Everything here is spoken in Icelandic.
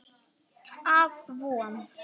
Af Von